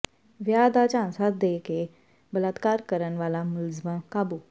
ਵਿਆਹ ਦਾ ਝਾਂਸਾ ਦੇ ਕੇ ਬਲਾਤਕਾਰ ਕਰਨ ਵਾਲਾ ਮੁਲਜ਼ਮ ਕਾਬੂ